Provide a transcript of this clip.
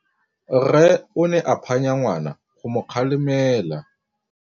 Rre o ne a phanya ngwana go mo galemela.